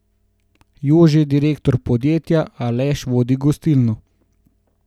Jože je direktor podjetja, Aleš vodi gostilno.